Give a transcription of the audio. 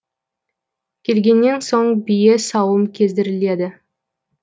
келгеннен соң бие сауым кездіріледі